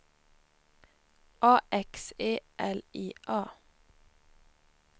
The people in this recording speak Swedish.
A X E L I A